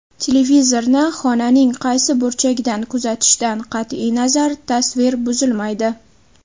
Televizorni xonaning qaysi burchagidan kuzatishdan qat’iy nazar, tasvir buzilmaydi.